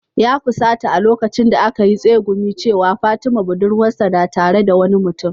Ya fusata a lokacin da aka yi tsegumin cewa, fatima budurwarsa na tare da wani mutum